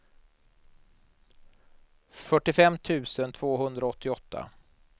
fyrtiofem tusen tvåhundraåttioåtta